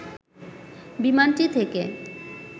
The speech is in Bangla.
বিমানটি থেকে